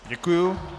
Děkuji.